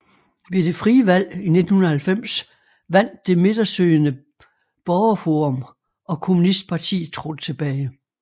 Ved det frie valg i 1990 vandt det midtersøgende Borgerforum og kommunistpartiet trådte tilbage